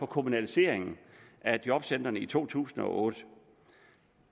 kommunaliseringen af jobcentrene i to tusind og otte